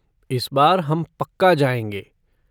इस बार हम पक्का जाएँगे।